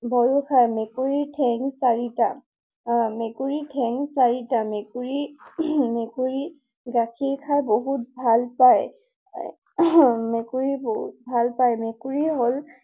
ভয়ো খায়। মেকুৰীৰ ঠেং চাৰিটা। আ, মেকুৰীৰ ঠেং চাৰিটা। মেকুৰী, মেকুৰীয়ে গাখীৰ খাই বহুত ভাল পায়। মেকুৰীয়ে বহুত ভাল পায়। মেকুৰী হল